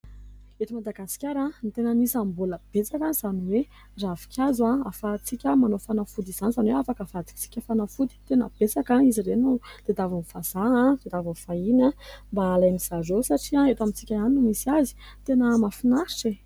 Eto Madagasikara dia tena anisany mbola betsaka izany hoe ravinkazo ahafahantsika manao fanafody izany, izany hoe afaka avadintsika ho fanafody. Tena betsaka izy ireo no tadiavin'ny vazaha tadiavin'ny vahiny mba halain'izy ireo satria eto amintsika ihany no misy azy. Tena mahafinaritra e !